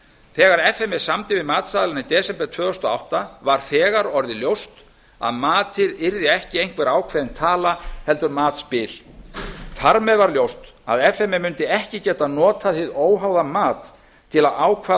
þegar f m e samdi við matsaðilana í desember tvö þúsund og átta var þegar orðið ljóst að matið yrði ekki einhver ákveðin taka heldur matsbil þar með var ljóst að f m e mundi ekki geta notað hið óháða mat til að ákveða hina